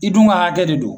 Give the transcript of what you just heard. I dun ka hakɛ de don